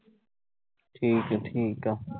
ਠੀਕ ਆ-ਠੀਕ ਆ